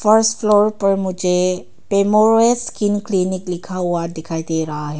First floor पर मुझे पेमॉरस स्किन क्लिनिक लिखा हुआ दिखाई दे रहा है।